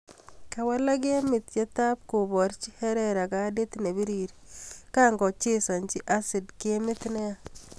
Kawalak gemit yetab kiborchii herera kadit ne birir kokango chesanjii hazard gemit ne yaa